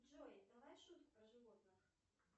джой давай шутку про животных